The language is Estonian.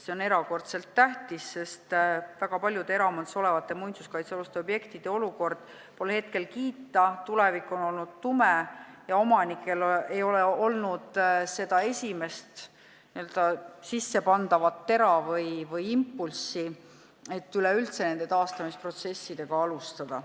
See on erakordselt tähtis, sest väga paljude eraomandis olevate muinsuskaitsealuste objektide olukord pole kiita, nende tulevik on olnud tume ja omanikel ei ole olnud seda esimest n-ö sissepandavat tera või impulssi, et üleüldse taastamisprotsessiga alustada.